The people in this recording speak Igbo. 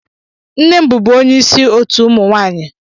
Nne m bubu onye isi otu ụmụ nwaanyị.